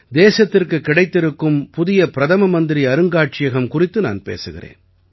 தேசத்திற்குக் கிடைத்திருக்கும் புதிய பிரதமமந்திரி அருங்காட்சியகம் குறித்து நான் பேசுகிறேன்